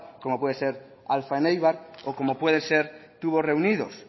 como puede ser alfa en eibar o como puede ser tubos reunidos